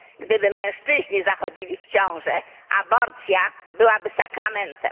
Gdyby mężczyźni zachodzili w ciążę, aborcja byłaby sakramentem.